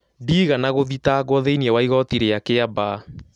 Ndigana gũthitagwo thĩĩni wa Igoti ria kĩambaa